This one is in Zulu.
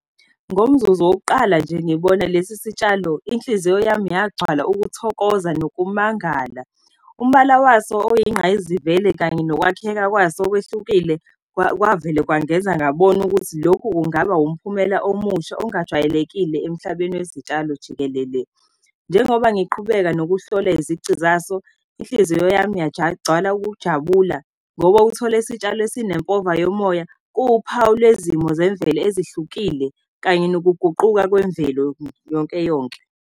Ngomzuzu wokuqala nje, ngibona lesi sitshalo, inhliziyo yami yagcwala ukuthokoza nokumangala. Umbala waso oyingqayizivele kanye nokwakheka kwaso okwehlukile, kwavele kwangenza ngabona ukuthi lokhu kungaba umphumela omusha ongajwayelekile emhlabeni wezitshalo jikelele. Njengoba ngiqhubeka nokuhlola izici zaso, inhliziyo yami ukujabula, ngoba uthole isitshalo esinempova yomoya. Kuwuphawu lwezimo zemvelo ezihlukile kanye nokuguquka kwemvelo yonke-yonke.